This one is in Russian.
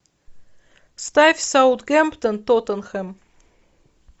ставь саутгемптон тоттенхэм